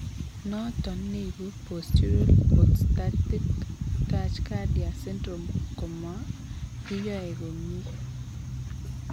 Noton neibu postural orthostatic tachcardia syndrome komakiyoo komyee